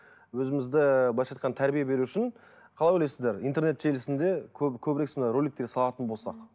өзімізді ы былайша айтқанда тәрбие беру үшін қалай ойлайсыздар интернет желісінде көбірек сондай роликтер салатын болсақ